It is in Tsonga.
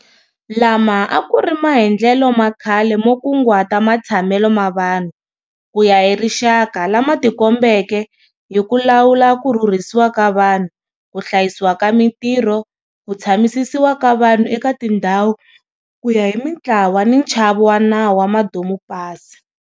Lama a ku ri maendlelo ma khale mo kunguhata matshamelo ma vanhu ku ya hi rixaka lama tikombeke hi ku lawula ku rhurhisiwa ka vanhu, ku hlayisiwa ka mitirho, ku tshamisisiwa ka vanhu eka tindhawu ku ya hi mitlawa ni nchavo wa nawu wa madomupasi.